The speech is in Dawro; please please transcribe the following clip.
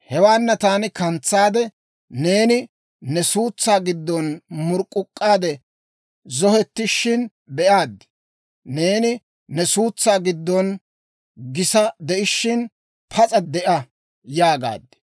«‹ «Hewaana taani kantsaade, neeni ne suutsaa giddon murk'k'uk'k'aade zohettishina be'aad; neeni ne suutsaa giddon gisa de'ishiina, Pas'a de'a yaagaad.